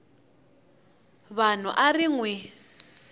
vanhu a ri n wi